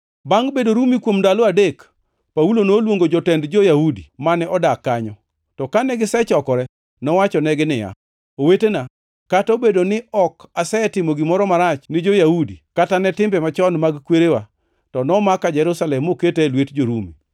Bangʼ bedo Rumi kuom ndalo adek, Paulo noluongo jotend jo-Yahudi mane odak kanyo. To kane gisechokore, nowachonegi niya, “Owetena, kata obedo ni ok asetimo gimoro marach ni jo-Yahudi kata ne timbe machon mag kwerewa, to nomaka Jerusalem moketa e lwet jo-Rumi.